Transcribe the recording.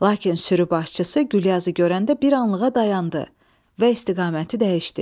Lakin sürü başçısı Gülyazı görəndə bir anlığa dayandı və istiqaməti dəyişdi.